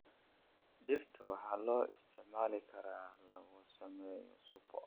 Digirta waxaa loo isticmaali karaa in lagu sameeyo suppe.